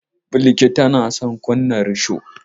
Balki na son ta kunna risho.